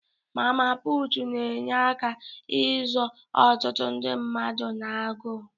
Mama puutu na-enye aka izọ ọtụtụ ndị mmadụ na-agụụ.